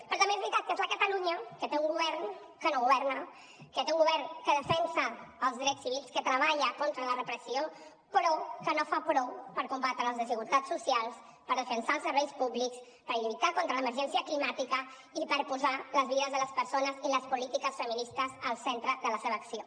però també és veritat que és la catalunya que té un govern que no governa que té un govern que defensa els drets civils que treballa contra la repressió però que no fa prou per combatre les desigualtats socials per defensar els serveis públics per lluitar contra l’emergència climàtica i per posar les vides de les persones i les polítiques feministes al centre de la seva acció